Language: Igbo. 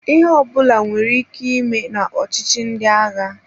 Ihe ọbụla nwere ike ime na ọchịchi ndị agha.